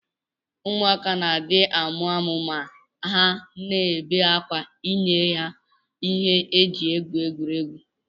Ụmụaka na adi amụamu ma ha na bee akwa inyeha ihe ha ji egwuri egwu.